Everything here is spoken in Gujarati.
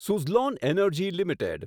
Suzlon energy limited